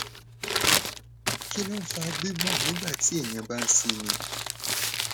kí ló ń fa gbigbon nigba ti eyan ba n simi